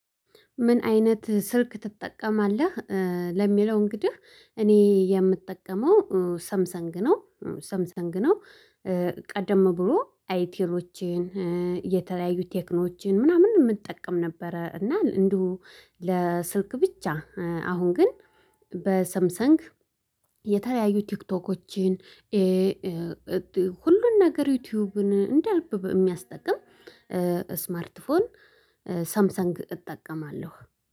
ምን አይነት ስልክ ትጠቀማለህ? ለሚለው እንግዲህ እኔ የምጠቀመው ሰምሰንግ ነው ሰምሰንግ ነው። ቀደም ብሎ አይቲሮችን የተለያዩ ቴክኖዎችን ምናምን የምጠቀም ነበረ። እና እንደው ለስልክ ብቻ አሁን ግን። በሰምሰንግ የተለያዩ ቲክቶኮችን። ሁሉን ነገር ዩቲዩብን እንደ ልብ የሚያስጠቅም ስማርት ፎን። ሳምሰንግ እጠቀማለሁ